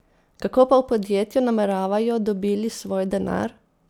Kako pa v podjetju nameravajo dobili svoj denar?